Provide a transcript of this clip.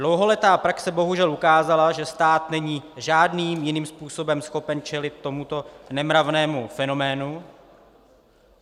Dlouholetá praxe bohužel ukázala, že stát není žádným jiným způsobem schopen čelit tomuto nemravnému fenoménu.